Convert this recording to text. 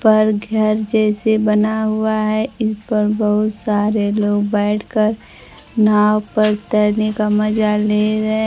पर घर जैसे बना हुआ है इस पर बहुत सारे लोग बैठकर नाव पर तैरने का मजा ले रहे--